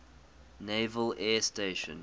naval air station